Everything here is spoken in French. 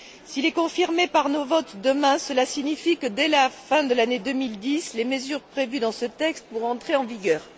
Si le texte est confirmé par nos votes demain, cela signifie que, dès la fin de l'année 2010, les mesures prévues dans ce texte pourront entrer en vigueur.